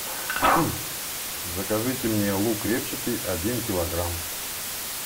закажите мне лук репчатый один килограмм